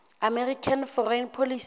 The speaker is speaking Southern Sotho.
american foreign policy